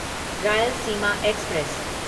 Rayalaseema express